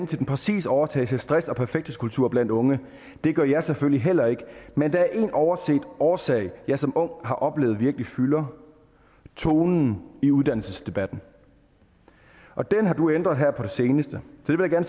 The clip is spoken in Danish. til den præcise årsag til stress og perfekthedskultur blandt unge det gør jeg selvfølgelig heller ikke men der er én overset årsag jeg som ung har oplevet virkelig fylder tonen i uddannelsesdebatten den har du ændret her på det seneste